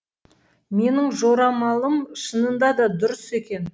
менің жорамалым шынында да дұрыс екен